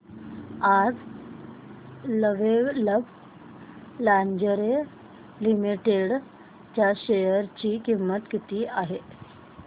आज Lovable Lingerie Limited च्या share ची किंमत किती आहे